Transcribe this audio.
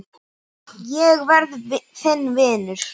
Ég verð þinn vinur.